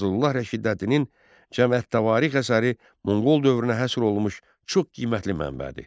Fəzlullah Rəşidəddinin Cəmiət Tarixi əsəri Monqol dövrünə həsr olunmuş çox qiymətli mənbədir.